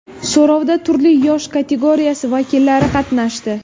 So‘rovda turli yosh kategoriyasi vakillari qatnashdi.